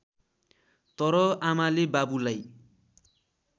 तर आमाले बाबुलाई